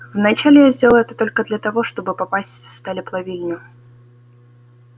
вначале я сделал это только для того чтобы попасть в сталеплавильню